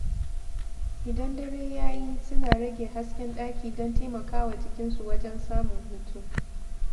Idan dare ya yi, suna rage hasken ɗaki don taimaka wa jikinsu wajen samun hutu.